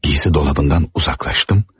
Giyim dolabından uzaklaşdım.